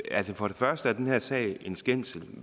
at for det første er den her sag en skændsel